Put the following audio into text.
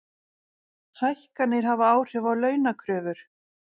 Hækkanir hafa áhrif á launakröfur